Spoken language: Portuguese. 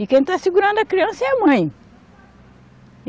E quem está segurando a criança é a mãe.